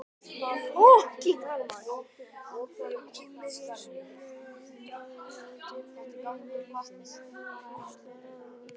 Hún kímdi í sömu andrá og dimmdi yfir henni og hvíslaði að honum